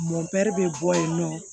Mɔɛri bɛ bɔ yen nɔ